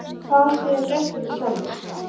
En hvað segja gestirnir sjálfir?